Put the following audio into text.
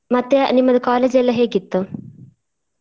ಮತ್ತೆ ನಿಮ್ಮದು college ಎಲ್ಲ ಹೇಗಿತ್ತು.